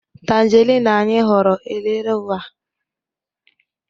tangerine anyị huru, erela ua